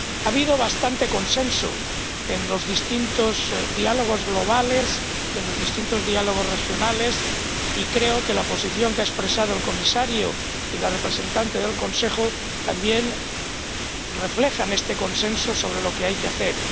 Ha habido bastante consenso en los distintos diálogos globales y en los distintos diálogos regionales, y creo que la posición que han expresado el Comisario y la representante del Consejo también reflejan este consenso sobre lo que hay que hacer.